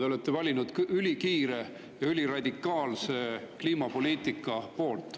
Te olete valinud ülikiire ja üliradikaalse kliimapoliitika.